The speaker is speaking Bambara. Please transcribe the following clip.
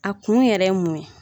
A kun yɛrɛ ye mun ye ?